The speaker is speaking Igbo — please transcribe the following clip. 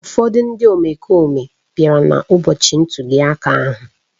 Ụfọdụ ndị omekome bịara n’ụbọchị ntuli aka ahụ